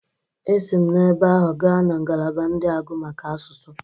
Esi ma ebe ahụ gaa na ngalaba ndị agụ maka asụsụ.